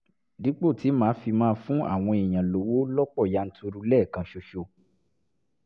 dípò tí màá fi máa fún àwọn èèyàn lówó lọ́pọ̀ yanturu lẹ́ẹ̀kan ṣoṣo